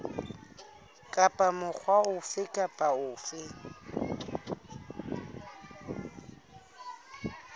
kapa mokga ofe kapa ofe